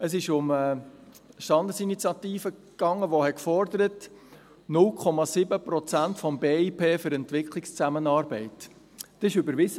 Es ging um eine Standesinitiative, die 0,7 Prozent des Bruttoinlandprodukts (BIP) für Entwicklungszusammenarbeit forderte.